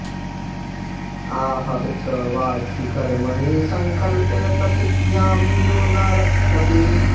आह च वाचि कर्मणि संकल्पे प्रतिज्ञां यो न रक्षति